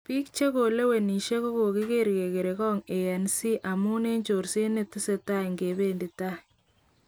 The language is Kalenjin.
Bik chekolewenishe kokokiger kokere'ngok ANC amun eng chorset netesetai ingebendi tai.